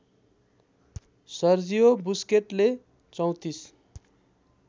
Sergio बुस्केटले ३४